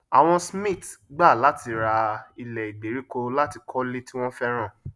àwọn smiths gbà láti rà ílẹ ìgbèríko latí kólé tí wọn fẹràn